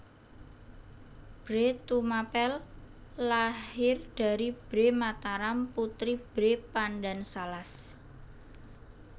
Bhre Tumapel lahir dari Bhre Mataram putri Bhre Pandansalas